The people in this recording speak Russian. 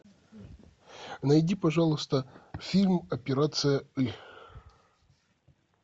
найди пожалуйста фильм операция ы